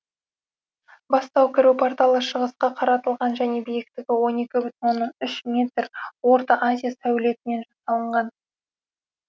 басты кіру порталы шығысқа қаратылған және биіктігі он екі бүтін оннан үш метр орта азия сәулетімен жасалынған